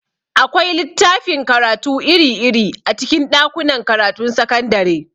Akwai littafin karatu iri-iri a cikin ɗakunan karatun sakandare.